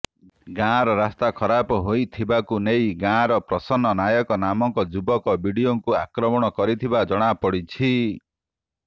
ଗାଁର ରାସ୍ତା ଖରାପ ହୋଇଥିବାକୁ ନେଇ ଗାଁର ପ୍ରସନ୍ନ ନାୟକ ନାମକ ଯୁବକ ବିଡିଓଙ୍କୁ ଆକମ୍ରଣ କରିଥିବା ଜଣାପଡ଼ିଛି